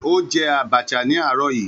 Ó jẹ Abacha ní àárọ̀ yìí